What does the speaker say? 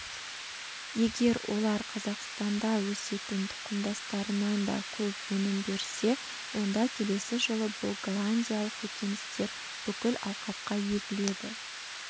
егер олар қазақстанда өсетін тұқымдастарынан да көп өнім берсе онда келесі жылы бұл голландиялық көкөністер бүкіл алқапқа егіледі